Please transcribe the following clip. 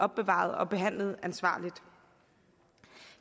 opbevaret og behandlet ansvarligt